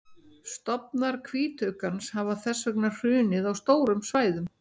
stofnar hvítuggans hafa þess vegna hrunið á stórum svæðum